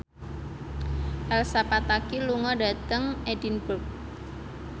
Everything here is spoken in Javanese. Elsa Pataky lunga dhateng Edinburgh